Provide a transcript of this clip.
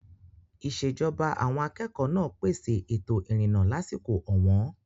Ìṣèjọba àwọn akẹ́kọ̀ọ́ náà pèsè ètò ìrìnnà lásìkò ọ̀wọ́n.